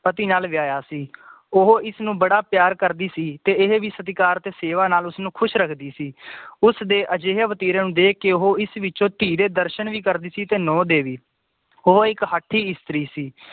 ਪਤੀ ਨਾਲ ਵਿਆਇਆ ਸੀ ਉਹ ਇਸਨੂੰ ਬੜਾ ਪਿਆਰ ਕਰਦੀ ਸੀ ਤੇ ਇਹ ਵੀ ਸਤਿਕਾਰ ਤੇ ਸੇਵਾ ਨਾਲ ਉਸਨੂੰ ਖੁਸ਼ ਰੱਖਦੀ ਸੀ ਉਸਦੇ ਆਧੇਰੈ ਵਤਰਨ ਦੇਖ ਕੇ ਉਹ ਇਸ ਵਿਚੋਂ ਧੀ ਦੇ ਦਰਸ਼ਨ ਵੀ ਕਰਦੀ ਸੀ ਤੇ ਨੌਂਹ ਦੇ ਵੀ ਉਹ ਇੱਕ ਹਾਠੀ ਇਸਤਰੀ ਸੀ